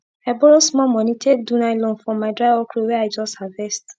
i borrow small moni take do nylon for my dry okro wey i just harvest